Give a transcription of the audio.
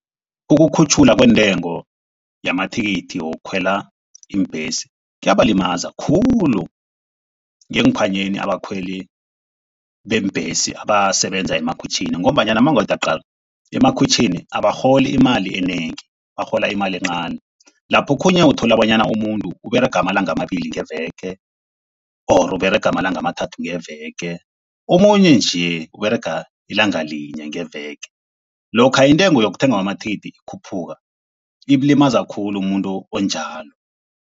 Ukukhutjhulwa kwentengo yamathikithi wokukhwela iimbhesi kuyabalimaza khulu ngeenkhwanyeni abakhweli beembhesi, abasebenza emakhwitjhini. Ngombanyana mawungathi uyaqala, emkhukhwitjhini abarholi imali enengi, barhola imali encani. Lapho okhunye uthola bonyana umuntu Uberega amalanga amabili ngeveke or Uberaga amalanga amathathu ngeveke omunye nje Uberega ilanga linye ngeveke. Lokha intengo yokuthengwa kwamathikithi ikhuphuka, imlimaza khulu umuntu onjalo.